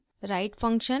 write function